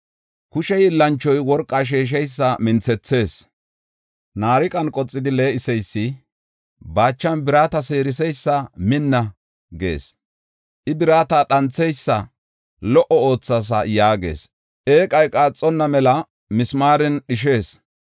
Kushe hiillanchoy worqa sheesheysa minthethees; naariqan qoxidi lee7iseysi baachan birata seeriseysa, “Minna” gees. I birata dhantheysa, “Lo77o oothaasa” yaagees; eeqay qaaxonna mela mismaaren dhishees.